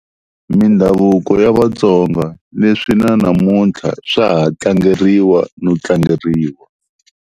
Mindhavuko ya Vatsonga, leswi na namuntlha swa ha tlangeriwa no tlangeriwa.